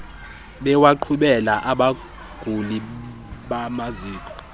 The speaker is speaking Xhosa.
bewaqhubela abaguli bamaziko